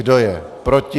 Kdo je proti?